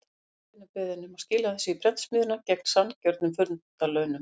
Finnandi er beðinn um að skila þessu í prentsmiðjuna, gegn sanngjörnum fundarlaunum.